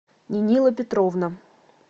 нинила петровна